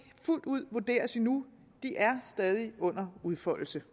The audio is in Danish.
fuldt ud vurderes endnu de er stadig under udfoldelse